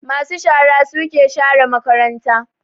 Ma su shara suke share makaranta